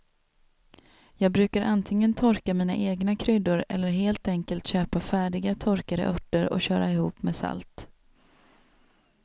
Jag brukar antingen torka mina egna kryddor eller helt enkelt köpa färdiga torkade örter och köra ihop med salt.